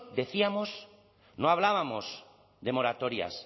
decíamos no hablábamos de moratorias